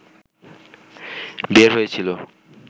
বের হয়েছিলো